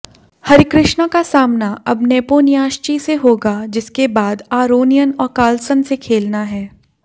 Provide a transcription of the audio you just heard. हरिकृष्णा का सामना अब नेपोनियाश्चि से होगा जिसके बाद आरोनियन और कार्लसन से खेलना है